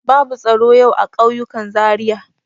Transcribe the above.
Babu tsaro yau a ƙauyukan Zariya.